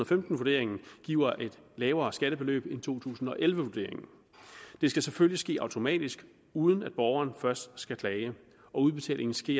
femten vurderingen giver et lavere skattebeløb end to tusind og elleve vurderingen det skal selvfølgelig ske automatisk uden at borgeren først skal klage og udbetalingen skal